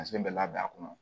bɛ labɛn a kɔnɔ